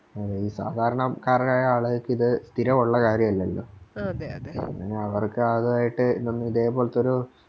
ആ ഈ സാധാരണക്കാർക്കങ്ങനെ സ്ഥിരാവൊള്ള കാര്യവല്ലല്ലോ അങ്ങനെ അവർക്ക് ആദ്യവായിട്ട് ഇതൊന്നു ഇതേപോൽത്തൊരു